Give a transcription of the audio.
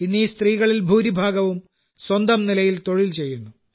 ഇന്ന് ഈ സ്ത്രീകളിൽ ഭൂരിഭാഗവും സ്വന്തം നിലയിൽ തൊഴിൽ ചെയ്യുന്നു